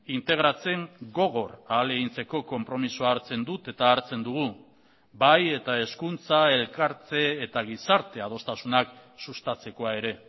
integratzen gogor ahalegintzeko konpromisoa hartzen dut eta hartzen dugu bai eta hezkuntza elkartze eta gizarte adostasunak sustatzekoa ere